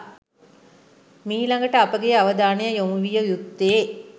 මීළඟට අපගේ අවධානය යොමු විය යුත්තේ